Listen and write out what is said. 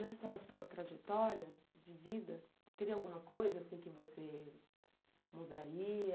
Nessa sua trajetória de vida, teria alguma coisa assim que você mudaria?